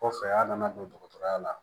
Kɔfɛ a nana don dɔgɔtɔrɔya la